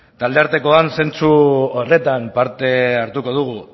talde artekoan zentzu horretan parte hartuko dugu